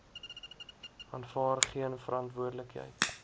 aanvaar geen verantwoordelikheid